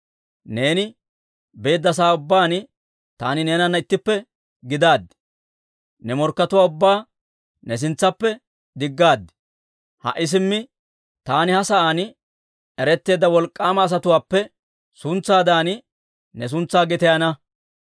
Neeni beedda sa'aa ubbaan taani neenana ittippe gidaad; ne morkkatuwaa ubbaa ne sintsaappe diggaad. Ha"i simmi taani ha sa'aan eretteedda wolk'k'aama asatuwaappe suntsaadan ne suntsaa gitayana.